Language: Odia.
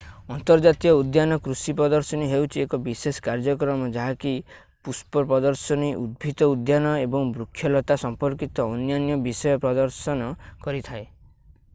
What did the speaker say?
ଅନ୍ତର୍ଜାତୀୟ ଉଦ୍ୟାନ କୃଷି ପ୍ରଦର୍ଶନୀ ହେଉଛି ଏକ ବିଶେଷ କାର୍ଯ୍ୟକ୍ରମ ଯାହାକି ପୁଷ୍ପ ପ୍ରଦର୍ଶନୀ ଉଦ୍ଭିଦ ଉଦ୍ୟାନ ଏବଂ ବୃକ୍ଷଲତା ସମ୍ପର୍କିତ ଅନ୍ୟାନ୍ୟ ବିଷୟ ପ୍ରଦର୍ଶନ କରିଥାଏ